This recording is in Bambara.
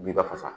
Binba fasa